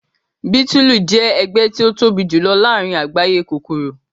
bitulu jẹ ẹgbẹ ti o tobi julọ laarin agbaye kokoro.